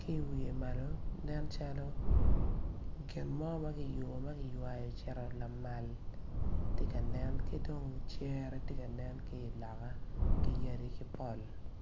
ki i wiye malo nen calo gin mo ma kiyubu ma kiywayo ocito lamal ti kanen ki dong cere ti kanen ki iloka ki yadi ki pol